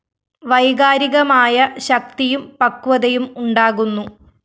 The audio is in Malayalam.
വൈകാരികമായ ശക്തിയും പക്വതയും ഉണ്ടാകുന്നു